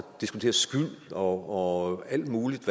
diskutere skyld og og alt muligt